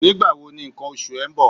Nígbà wo ni ǹkan oṣù ẹ ń bọ̀?